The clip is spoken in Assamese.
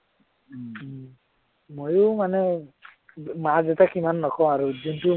মইও মানে মা-দেউতাক সিমান নকওঁ আৰু, কিন্তু